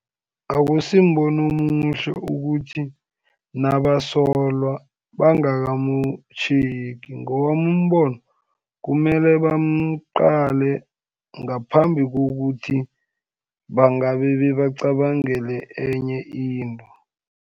Akusimbono omuhle ukuthi nabasolwa bangakamtjhengi, ngowami umbono kumele bamqale ngaphambi kokuthi bangabe bebacabangele enye into.